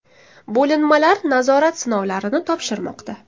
Bo‘linmalar nazorat sinovlarini topshirmoqda .